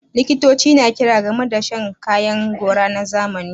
Likitoci na kira game da rage shan kayan gora na zamani